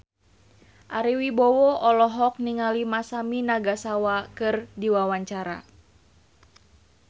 Ari Wibowo olohok ningali Masami Nagasawa keur diwawancara